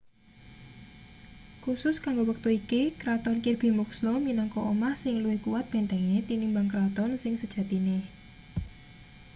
khusus kanggo wektu iki kraton kirby muxloe minangka omah sing luwih kuwat bentenge tinimbang kraton sing sejatine